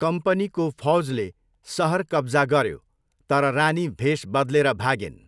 कम्पनीको फौजले सहर कब्जा गऱ्यो तर रानी भेष बदलेर भागिन्।